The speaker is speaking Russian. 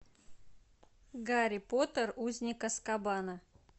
гарри поттер узник азкабана